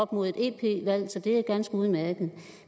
på et ep valg så det er ganske udmærket